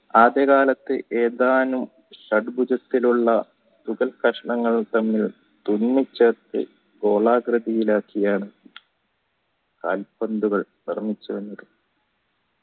ആദ്യ കാലത്തു ഏതാനും ഷഡ്‌ബുജത്തിലുള്ള കഷ്ണങ്ങൾ തമ്മിൽ തുന്നി ചേർത്ത് ഗോളാകൃതിയിൽ ആക്കി കാൽ പന്തുകൾ നിർമ്മിച്ചത്